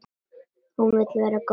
Hún vill vera góð.